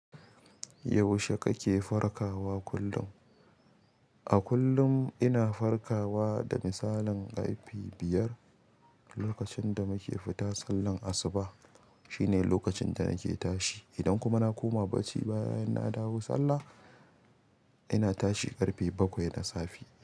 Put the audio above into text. Yaushe kake farkawa kullum? A kullum ina farkawa da misalin ƙarfe biyar. Lokacin da muke fita sallan asuba shine lokacin da nake tashi. Idan kuma na koma barci bayan na dawo sallah, ina tashi ƙarfe bakwai na safe.